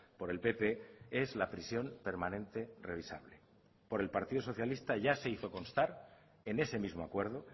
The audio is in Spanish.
por el pp es la prisión permanente revisable por el partido socialista ya se hizo constar en ese mismo acuerdo